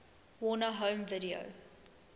warner home video